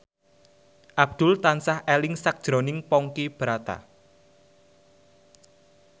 Abdul tansah eling sakjroning Ponky Brata